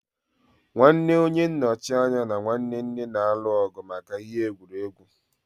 Nwanne onye nnochi anya na nwanne nne na-alụ ọgụ maka ihe egwuregwu.